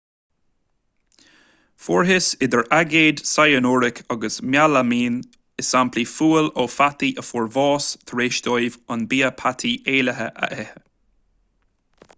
fuarthas idir aigéad cyanuric agus mealaimín i samplaí fuail ó pheataí a fuair bás tar éis dóibh an bia peataí éillithe a ithe